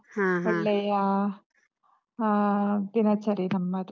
ಹಾ ಹಾ. ಒಳ್ಳೆಯಾ. ಆಹ್ ದಿನಚರಿ ನಮ್ಮದು.